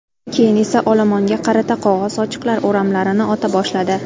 Keyin esa olomonga qarata qog‘oz sochiqlar o‘ramlarini ota boshladi.